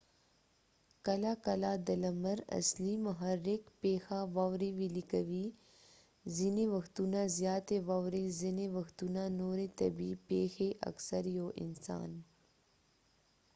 کله کله د لمر اصلي محرک پيښه واوري ويلې کوې ځینې وختونه زياتي واورې ځینې وختونه نورې طبیعي پیښې اکثر یو انسان